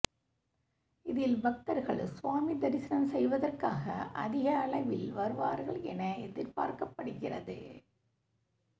இதில் பக்தர்கள் சுவாமி தரிசனம் செய்வதற்காக அதிகளவில் வருவார்கள் என எதிர்பார்க்கப்படுகிறது